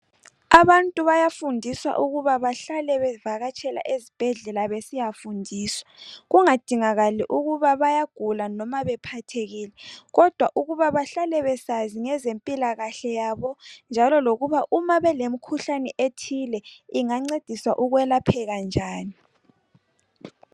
Abantu bayafundiswa ukuba bahlale bevakatshela ezibhedlela besiyafundiswa kungadingakali ukuba bayagula noma bephathekile kodwa ukuba bahlale besazi ngezempilakahle yabo njalo lokuba uma belemkhuhlane ethile ingancediswa ukwelapheka njani.